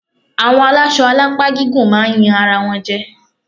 Àwọn alásọ alápá gígùn máa yan ara wọn jẹ.